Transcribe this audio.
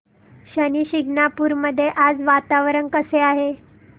शनी शिंगणापूर मध्ये आज वातावरण कसे आहे